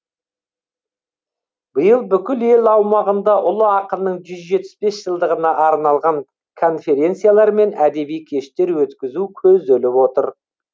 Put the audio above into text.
биыл бүкіл ел аумағында ұлы ақынның жүз жетпіс бес жылдығына арналған конференциялар мен әдеби кештер өткізу көзделіп отыр